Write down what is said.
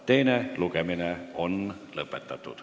Teine lugemine on lõppenud.